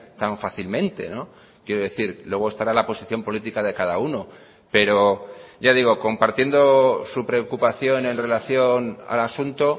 tan fácilmente quiero decir luego estará la posición política de cada uno pero ya digo compartiendo su preocupación en relación al asunto